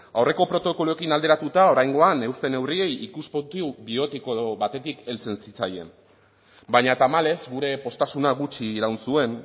aurreko protokoloekin alderatuta oraingoan euste neurriei ikuspuntu bioetiko batetik heltzen zitzaien baina tamalez gure poztasuna gutxi iraun zuen